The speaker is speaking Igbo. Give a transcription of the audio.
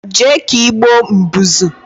Jee ka igboo Mbụzụ